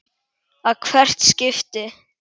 að hvert skipti.